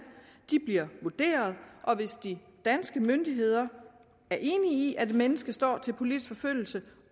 bliver vurderet og hvis de danske myndigheder er enige i at et menneske står til politisk forfølgelse